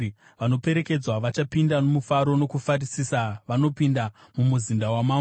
Vanoperekedzwa vachapinda nomufaro nokufarisisa; vanopinda mumuzinda wamambo.